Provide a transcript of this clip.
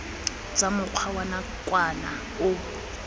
tsa mokgwa wa nakwana o